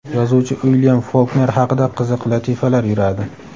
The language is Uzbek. yozuvchi Uilyam Folkner haqida qiziq latifalar yuradi.